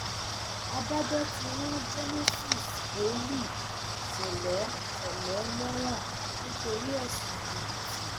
adájọ ti rán genesis wòlíì ṣẹlẹ ṣẹlẹ lẹwọn nítorí ẹsùn jìbìtì